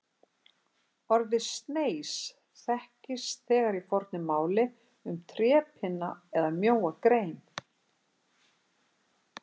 Orðið sneis þekkist þegar í fornu máli um trépinna eða mjóa grein.